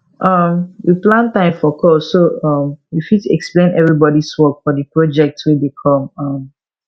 um we plan time for call so um we fit explain everybodys work for the project wey dey come um